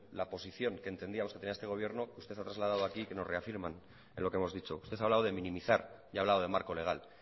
la posición que entendíamos que tenía este gobierno usted ha trasladado aquí que nos reafirman en lo que hemos dicho usted ha hablado de minimizar y ha hablado de marco legal